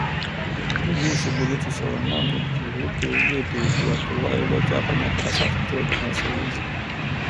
nílùú ọṣọgbó ló ti sọrọ náà níbi ìwọde orílẹèdè oòdùà tó wáyé lọjọ àbámẹta sátidé òpin ọsẹ yìí